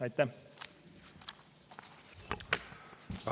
Aitäh!